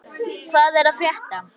Veiga, hvað er að frétta?